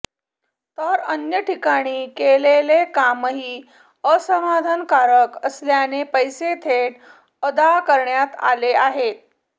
तर अन्य ठिकाणी केलेले कामही असमाधानकारक असल्याने पैसे थेट अदा करण्यात आलेले आहे